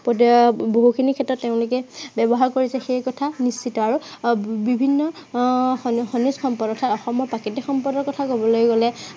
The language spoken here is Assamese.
এতিয়া বহুখিনি ক্ষেত্ৰত তেওঁলোকে ব্য়ৱহাৰ কৰিছে, সেই কথা নিশ্চিতঃ। আৰু আহ বিভিন্ন আহ খ~খনিজ সম্পদ, অৰ্থাত অসমৰ প্ৰাকৃতিক সম্পদৰ কথা কবলৈ গলে